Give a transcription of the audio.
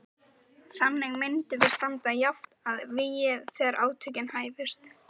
Þannig myndum við standa jafnt að vígi þegar átökin hæfust.